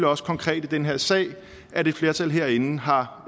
også konkret i den her sag at et flertal herinde har